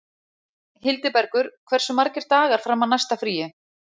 Hildibergur, hversu margir dagar fram að næsta fríi?